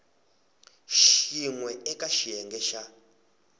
xin we eka xiyenge xa